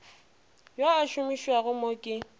yo a amušwago mo ke